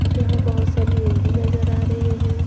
यहां बहोत सारे रूम भी नजर आ रहे हैं।